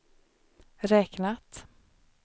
räknat